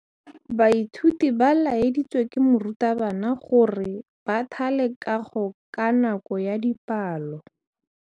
Baithuti ba laeditswe ke morutabana gore ba thale kagô ka nako ya dipalô.